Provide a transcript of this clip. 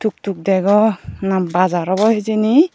tuk degw na bazar awbw hijeni.